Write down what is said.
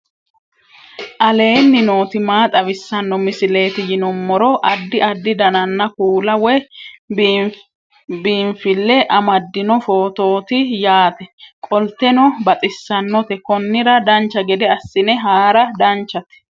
aleenni nooti maa xawisanno misileeti yinummoro addi addi dananna kuula woy biinsille amaddino footooti yaate qoltenno baxissannote konnira dancha gede assine haara danchate